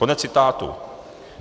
Konec citátu.